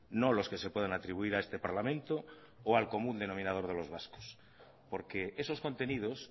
no los que se puedan atribuir a este parlamento o al común denominador de los vascos porque esos contenidos